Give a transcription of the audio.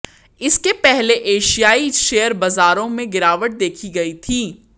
इसके पहले एशियाई शेयर बाज़ारों में गिरावट देखी गई थी